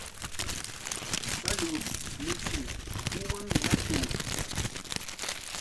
салют включи хуман натур